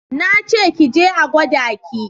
Na ce ki je a gwada ki!